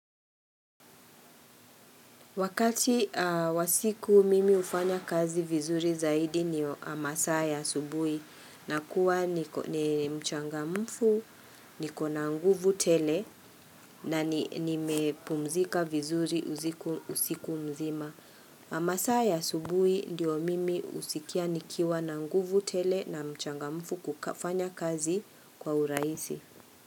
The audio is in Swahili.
Wakati wa siku mimi hufanya kazi vizuri zaidi ni masaa ya asubuhi nakuwa ni mchangamfu, nikona na nguvu tele na nimepumzika vizuri usiku mzima. Masaa ya asubuhi ndiyo mimi husikia nikiwa na nguvu tele na mchangamfu kufanya kazi kwa urahisi.